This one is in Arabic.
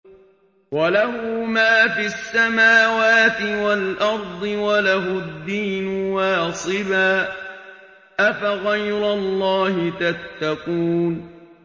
وَلَهُ مَا فِي السَّمَاوَاتِ وَالْأَرْضِ وَلَهُ الدِّينُ وَاصِبًا ۚ أَفَغَيْرَ اللَّهِ تَتَّقُونَ